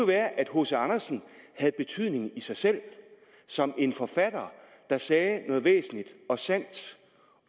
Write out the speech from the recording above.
være at hc andersen havde betydning i sig selv som en forfatter der sagde noget væsentligt og sandt